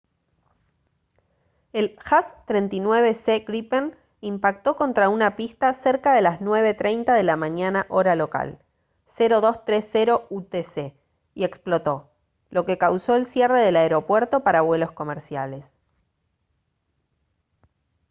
el jas 39c gripen impactó contra una pista cerca de las 9:30 de la mañana hora local 0230 utc y explotó lo que causó el cierre del aeropuerto para vuelos comerciales